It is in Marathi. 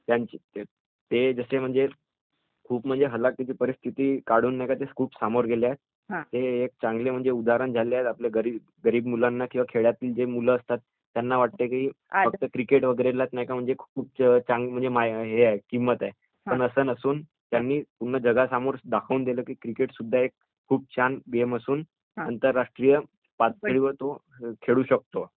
ते जसे म्हणजे खूप हलाखीची परिस्थिती काढून ते खूप समोर गेले आहेत. ते एक चांगलं उदाहरण झाले आहेत आपल्या गरीब मुलांना किंवा खेळातील जे मुलं असतात, त्यांना वाटते कि फक्त क्रिकेट वगैरे लाच नाही का खूप किंमत आहे, पण असं नसून, त्यांनी पूर्ण जगासमोर दाखवून दिलं की क्रिकेट सुद्धा एक खूप छान गेम असून आंतरराष्ट्रीय पावतळीवर तो खेळू शकतो.